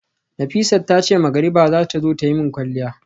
Nafisat tace magariba zata zo tayi min kwalliya